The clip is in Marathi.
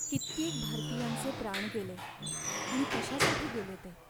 कित्येक भारतीयांचे प्राण गेले आणि कशासाठी गेले ते?